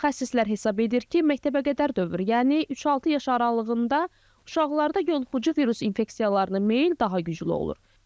Mütəxəssislər hesab edir ki, məktəbəqədər dövr, yəni 3-6 yaş aralığında uşaqlarda yuxucu virus infeksiyalarına meyill daha güclü olur.